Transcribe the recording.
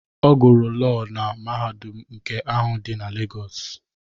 Ọ gụrụ Lọọ na mahadum nke ahụ dị na Legos.